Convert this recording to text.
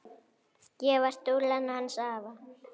Ég var dúllan hans afa.